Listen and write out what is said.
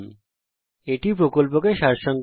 এটি কথ্য টিউটোরিয়াল প্রকল্পকে সংক্ষেপে বিবরণ করে